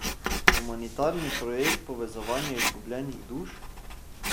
Humanitarni projekt povezovanja izgubljenih duš?